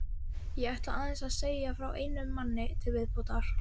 Ég ætla aðeins að segja frá einum manni til viðbótar.